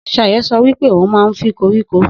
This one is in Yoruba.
Sayo so wípé ohun man fi koríko